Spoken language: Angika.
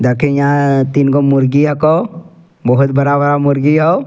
देखिं यहां अअ तीन गो मुर्गी हकौ बहुत बड़ा-बड़ा मुर्गी हो।